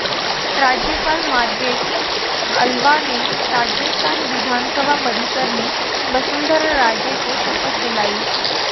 राज्यपाल मार्ग्रेट आल्वा ने राजस्थान विधानसभा परिसर में वसुंधरा राजे को शपथ दिलाई